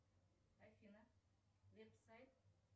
афина веб сайт